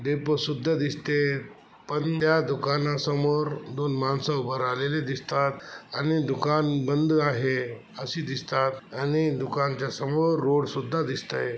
Depot सुद्धा दिसते. पण त्या दुकाना समोर दोन मानस उभा रहालेली दिसतात आणि दुकान बंद आहे. अशी दिसतात आणि दुकानाच्या समोर रोड सुद्धा दिसतय.